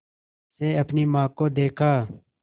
से अपनी माँ को देखा